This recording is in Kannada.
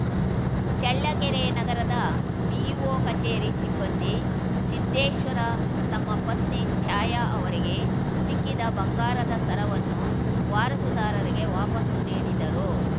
ಚಳ್ಳಕೆರೆ ನಗರದ ಬಿಇಒ ಕಚೇರಿ ಸಿಬ್ಬಂದಿ ಸಿದ್ದೇಶ್ವರ ತಮ್ಮ ಪತ್ನಿ ಛಾಯಾ ಅವರಿಗೆ ಸಿಕ್ಕಿದ ಬಂಗಾರದ ಸರವನ್ನು ವಾರಸುದಾರರಿಗೆ ವಾಪಾಸ್ಸು ನೀಡಿದರು